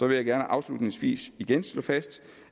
jeg gerne afslutningsvis igen slå fast